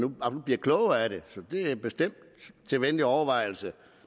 bliver klogere af det så det er bestemt til venlig overvejelse